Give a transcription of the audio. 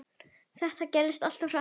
Þetta gerðist allt of hratt.